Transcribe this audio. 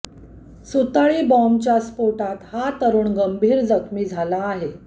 सुतळी बॉम्बच्या स्फोटात हा तरुण गंभीर जखमी झाला आहे